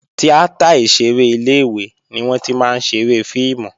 Tíátà ìṣeré ilé-ìwé ni wọ́n tí máa ń ṣeré fíìmù